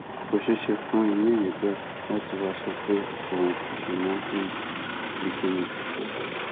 kò ṣeé ṣe fún irú èèyàn bẹẹ láti wàá sọ pé òun kò ṣe mọ fún ti kín ni